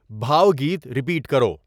بھاو گیت رپیٹ کرو